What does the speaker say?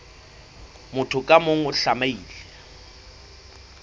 motho ka mong o tlamehile